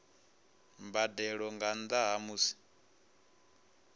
mbadelo nga nnda ha musi